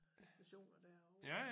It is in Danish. Stationer derovre